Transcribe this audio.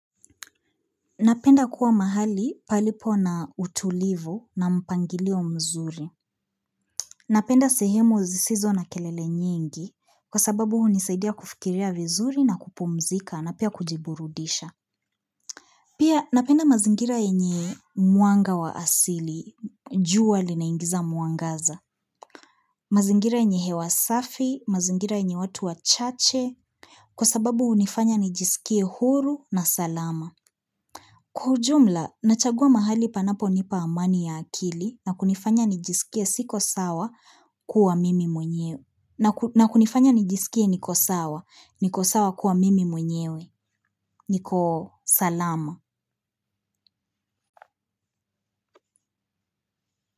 Napenda kuwa mahali palipo na utulivu na mpangilio mzuri. Napenda sehemu zisizo na kelele nyingi kwa sababu hunisaidia kufikiria vizuri na kupumzika na pia kujiburudisha. Pia napenda mazingira yenye mwanga wa asili, jua linaingiza mwangaza. Mazingira yenye hewa safi, mazingira yenye watu wachache. Kwa sababu hunifanya nijisikie huru na salama. Kwa ujumla, nachagua mahali panaponipa amani ya akili na kunifanya nijisikie siko sawa kuwa mimi mwenyewe na kunifanya nijisikie niko sawa, niko sawa kuwa mimi mwenyewe, niko salama.